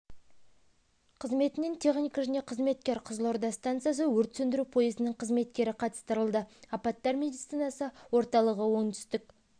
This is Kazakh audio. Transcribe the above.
қызметінен техника және қызметкер қызылорда станциясы өрт сөндіру пойызының қызметкері қатыстырылды апаттар медицинасы орталығы оңтүстік